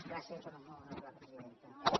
gràcies molt honorable presidenta